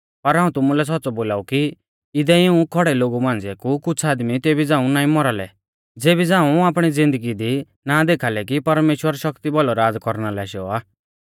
पर हाऊं तुमुलै सौच़्च़ौ बोलाऊ कि इदै इऊं खौड़ै लोगु मांझ़िऐ कु कुछ़ आदमी तेबी झ़ाऊं ना मौरा लै ज़ेबी झ़ाऊं आपणी ज़िन्दगी दी ना देखा लै कि परमेश्‍वर शक्ति भौलौ राज़ कौरना लै आशौ आ